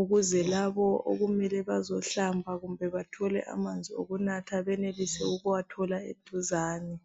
ukuze labo okumele bazohlamba kumbe bathole amanzi okunatha benelise ukuwathola eduzane.